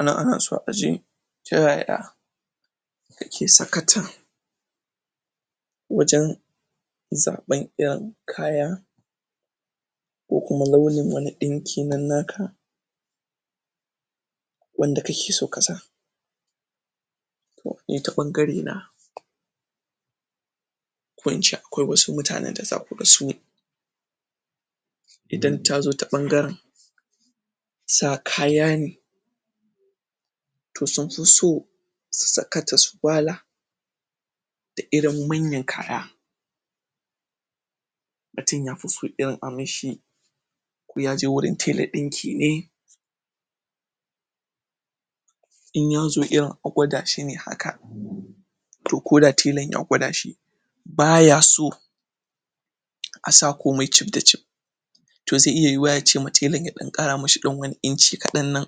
anan anaso aje ta yaya ake sakata wajen zaben yan kaya ko kuma launi wani ɗinki wanda kake so kasa ni ta bangare na ko ince akwai wasu mutane da zaku ga sune idan tazo ta bangaren sa kayane to sunfi so su saka jaswala da irin manyan kaya mutum yafiso irin aminshi ya je warun tela dinki ne in yazo irin agwadashi ne haka to koda telan ya gwadashi baya so asa komai cif da cif to zai iya cewa telan ya kara masa wani inci kadan nan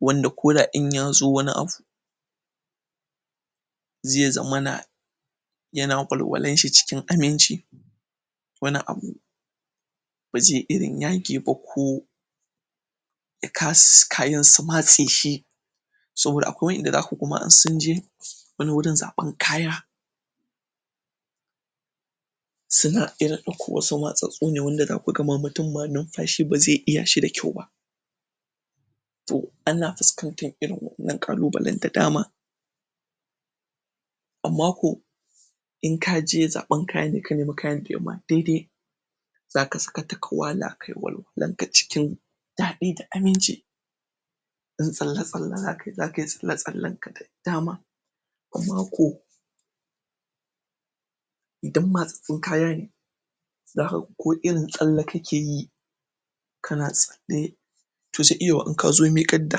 wanda koda in yazo wani abu zai zamana yana walwalanshi cikin aminci wani abu bazai irin yage ba ko kayan su matseshi saboda akwai wayanda zaku ga insunje wani wurin zaben kaya suna iya dauko wasu matsatsatsu da kuga mutum baya numfashi bazai iya shi da kyau ba to ana fuskantar wannan kalubalen da dama amma ko in kaje zaben kayan ka nemi kayan da yama daidai zaka sakata ka wala kayi walwalanka dadi da aminci in tsalle tsale zaka yi zakiyi tsale tsalen da dama amma ko idan matsatsu kaya ne zaka ga ko irin tsalla kake yi kana sare wata kila in kazo mikar da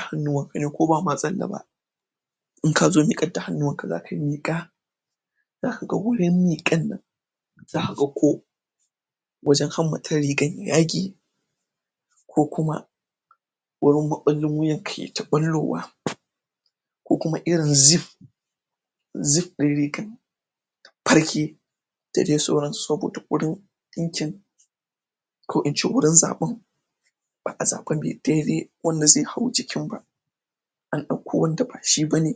hannuwanka ko ba matsan in kazo mikar da hannuwanka zaka yi miqa zaka ga wurin mikan nan zaka ga ko wajen hammatan rigan ya yage ko kuma wurin maballin wuya ya ta ballowa ko kuma irin zif zip din riga ya farke da dai sauran su saboda dinkin ko ince wurin zaban ba'a zaba mai daidai wanda zai hau jikin ba an dauko wanda ba shi bane